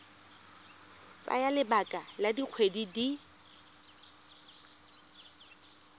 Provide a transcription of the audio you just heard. tsaya lebaka la dikgwedi di